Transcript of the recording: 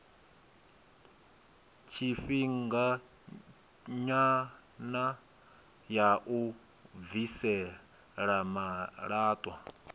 tshifhinganyana ya u bvisela malaṱwa